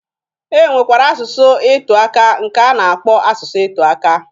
E nwekwara asụsụ ị tụaka nke a na-akpọ asụsụ ịtụaka.